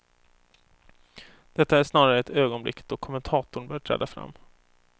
Detta är snarare ett ögonblick då kommentatorn bör träda fram.